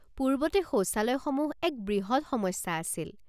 পূৰ্বতে শৌচালয়সমূহ এক বৃহৎ সমস্যা আছিল।